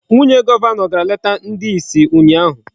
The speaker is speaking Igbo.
Nwunye Gọvanọ gara leta ndị isi ụnyaahụ.